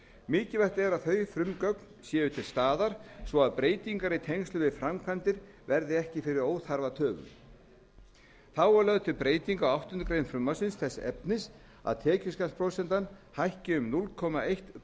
mikilvægt er að þau frumgögn séu til staðar svo breytingar í tengslum við framkvæmdir verði ekki fyrir óþarfatöfum þá er lögð til breyting á áttundu greinar frumvarpsins þess efnis að tekjuskattsprósenta hækki um núll komma eitt